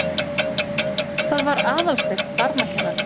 Það var Aðalsteinn barnakennari.